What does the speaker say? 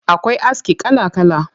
Akwai aski kala kala.